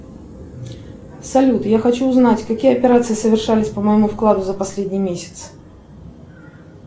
салют я хочу узнать какие операции совершались по моему вкладу за последний месяц